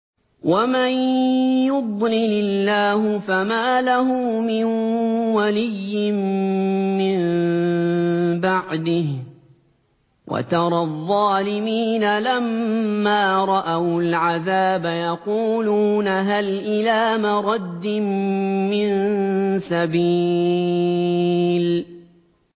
وَمَن يُضْلِلِ اللَّهُ فَمَا لَهُ مِن وَلِيٍّ مِّن بَعْدِهِ ۗ وَتَرَى الظَّالِمِينَ لَمَّا رَأَوُا الْعَذَابَ يَقُولُونَ هَلْ إِلَىٰ مَرَدٍّ مِّن سَبِيلٍ